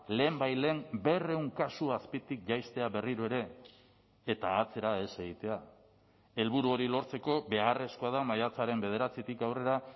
lehenbailehen berrehun kasu azpitik jaistea berriro ere eta atzera ez egitea helburu hori lortzeko beharrezkoa da maiatzaren bederatzitik aurrera